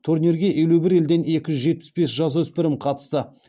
турнирге елу бір елден екі жүз жетпіс бес жасөспірім қатысты